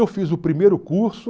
Eu fiz o primeiro curso.